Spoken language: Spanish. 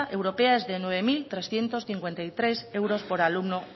europea es de nueve mil trescientos cincuenta y tres euros por alumno